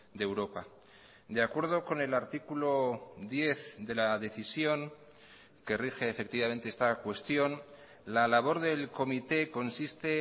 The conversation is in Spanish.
de europa de acuerdo con el artículo diez de la decisión que rige efectivamente esta cuestión la labor del comité consiste